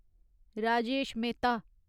Rajesh Mehta